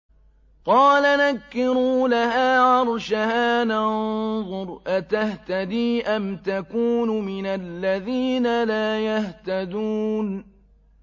قَالَ نَكِّرُوا لَهَا عَرْشَهَا نَنظُرْ أَتَهْتَدِي أَمْ تَكُونُ مِنَ الَّذِينَ لَا يَهْتَدُونَ